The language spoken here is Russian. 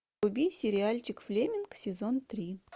вруби сериальчик флеминг сезон три